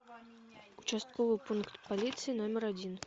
участковый пункт полиции номер один